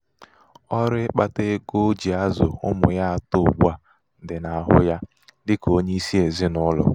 ọrụ ịkpata ego o um ji azụ ụmụ ya atọ um ugbu a dị n'ahụ ya. dị um ka onye isi ezinaụlọ.